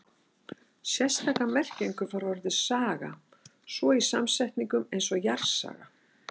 Sérstaka merkingu fær orðið saga svo í samsetningum eins og jarðsaga.